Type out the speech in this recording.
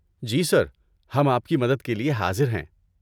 جی sir, ہم آپ کی مدد کے لیے حاضر ہیں۔